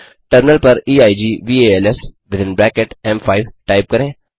terminal पर equals within bracket एम5 type करके